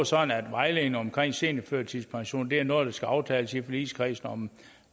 sådan at vejledningen omkring seniorførtidspension er noget der skal aftales i forligskredsen om